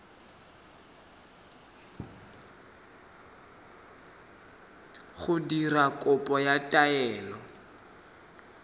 go dira kopo ya taelo